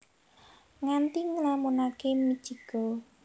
Nganti nglamunake Mitchiko